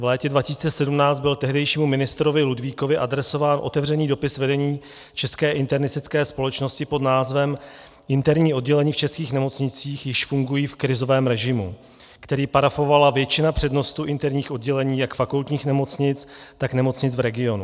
V létě 2017 byl tehdejšímu ministrovi Ludvíkovi adresován otevřený dopis vedení České internistické společnosti pod názvem Interní oddělení v českých nemocnicích již fungují v krizovém režimu, který parafovala většina přednostů interních oddělení jak fakultních nemocnic, tak nemocnic v regionu.